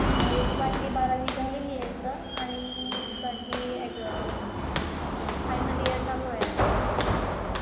एकाची बारावी झालेली आहे सर. आणि एकाची फायनल ईयर चालू आहे आता सध्या.